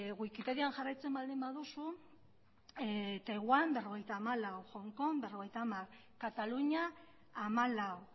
wikipedian jarraitzen baldin baduzu taiwan berrogeita hamalau hong kong berrogeita hamar kataluña hamalau